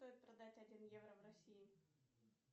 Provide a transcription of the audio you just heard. стоит продать один евро в россии